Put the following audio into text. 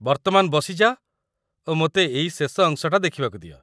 ବର୍ତ୍ତମାନ ବସିଯାଅ ଓ ମୋତେ ଏଇ ଶେଷ ଅଂଶଟା ଦେଖିବାକୁ ଦିଅ।